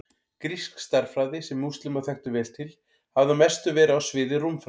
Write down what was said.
Grísk stærðfræði, sem múslímar þekktu vel til, hafði að mestu verið á sviði rúmfræði.